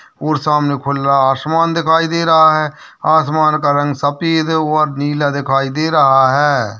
और सामने खुला आसमान दिखाई दे रहा है आसमान का रंग सफ़ेद है और नीला दिखाई दे रहा है।